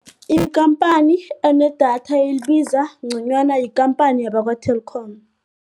Ikhamphani enedatha elibiza ngconywana yikhamphani yakwa-Telkom.